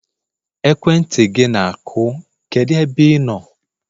ekwentị gị na-akụ, kedu ebe ị nọ?